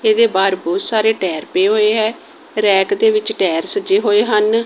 ਇਹਦੇ ਬਾਹਰ ਬਹੁਤ ਸਾਰੇ ਟਾਇਰ ਪਏ ਹੋਏ ਹੈ ਰੈਕ ਦੇ ਵਿੱਚ ਟਾਇਰ ਸੱਜੇ ਹੋਏ ਹਨ।